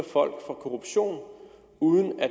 folk for korruption uden at